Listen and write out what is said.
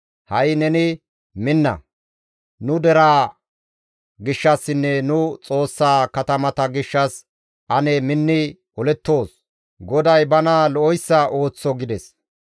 Ha7i neni minna! Nu deraa gishshassinne nu Xoossaa katamata gishshas ane minni olettoos; GODAY bana lo7oyssa ooththo» gides.